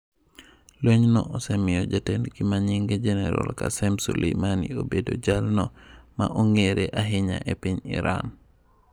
Lweny no osemiyo jatendgi manyinge Jeneral Qasem Soleimani obedo jalno ma ong'ere ahinya e piny Iran.